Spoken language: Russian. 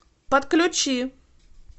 подключи